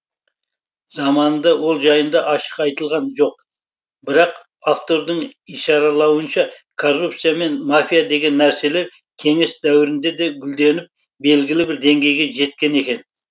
заманында ол жайында ашық айтылған жоқ бірақ автордың ишаралауынша коррупция мен мафия деген нәрселер кеңес дәуірінде де гүлденіп белгілі бір деңгейге жеткен екен